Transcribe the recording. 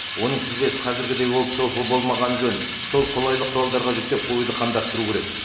оның тізбесін қазіргідей ол болмағаны жөн сол қолайлы құралдарға жүктеп қоюды қамдастыру керек